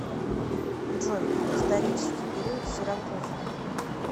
джой исторический период сиракузы